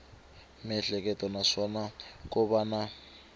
miehleketo naswona ko va na